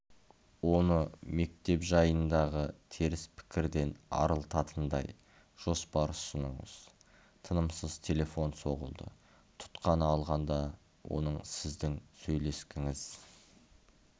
оны мектеп жайындағы теріс пікірден арылтатындай жоспар ұсыныңыз тынымсыз телефон соғылды тұтқаны алғанда оның сіздің сөйлескіңіз